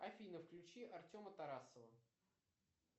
афина включи артема тарасова